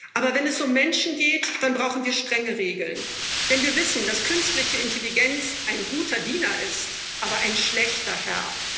Aber wenn es um Menschen geht, dann brauchen wir strenge Regeln, denn wir wissen, dass künstliche Intelligenz ein guter Diener ist, aber ein schlechter Herr.